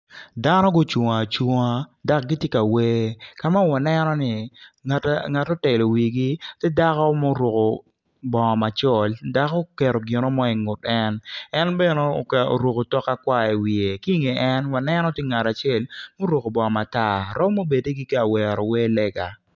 Dano gucung acunga dok gitye ka wer ka ma waneno ni ngat otelo wigi tye dako ma oruko bongo macol dok oketo gin mo ingut en en bene oruko otok akwar iwiye ki inge en waneno tye ngat acel ma oruko bongo matar romo bedi gitye ka wero wer lega.